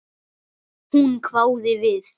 Hún hváði við.